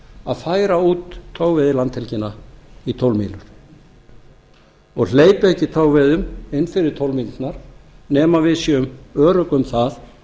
að færa út togveiðilandhelgina í tólf mílur og hleypa ekki togveiðum inn fyrir tólf mílurnar nema við séum örugg um